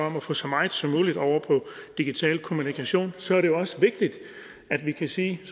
om at få så meget som muligt over på digital kommunikation så er det også vigtigt at vi kan sige at